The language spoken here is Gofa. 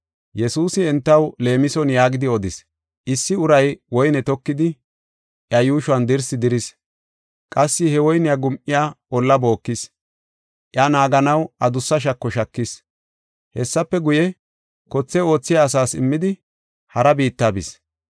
Yesuusi entaw leemison yaagidi odis: “Issi uray woyne tokidi, iya yuushon dirsi diris. Qassi he woyne gum7iya olla bookis. Iya naaganaw adussa shako shakis. Hessafe guye, kothe oothiya asas immidi, hara biitta bis.